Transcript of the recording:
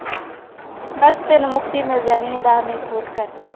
ਬਸ ਤੈਨੂੰ ਮੁਕਤੀ ਮਿਲ ਜਾਣੀ ਹੈ ਦਸ ਮਿੰਟ ਹੋਰ ਕਰ ਲਈ।